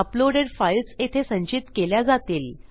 uploaded files येथे संचित केल्या जातील